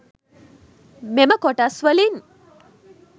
මෙම කොටස් වලින්